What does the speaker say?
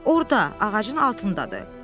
Orda, ağacın altındadır.